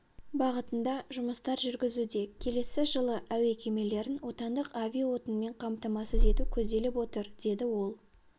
бағытында жұмыстар жүргізуде келесі жылы әуе кемелерін отандық авиаотынмен қамтамасыз ету көзделіп отыр деді ол